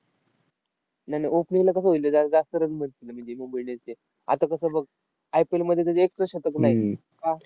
नाय नाय. opening ला कसं होईल रे, जरा जास्त run भेटतात म्हणजे मुंबई indians चे. आता कसं आहे बघ, IPL मध्ये त्याचं एकपण शतक नाही. का?